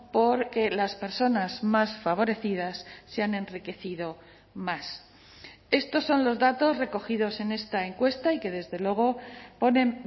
porque las personas más favorecidas se han enriquecido más estos son los datos recogidos en esta encuesta y que desde luego ponen